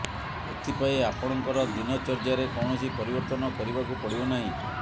ଏଥିପାଇଁ ଆପଣଙ୍କର ଦିନଚର୍ଯ୍ୟାରେ କୌଣସି ପରିବର୍ତ୍ତନ କରିବାକୁ ପଡ଼ିବ ନାହିଁ